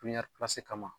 kama